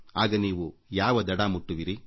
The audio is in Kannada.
ಆಗ ನೀವು ಯಾವ ಕೊನೆ ತಲುಪುತ್ತೀರಿ